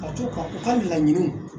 Ka to ka u ka laɲiniw